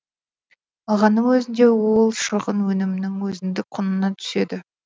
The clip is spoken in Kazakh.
алғанның өзінде ол шығын өнімнің өзіндік құнына түседі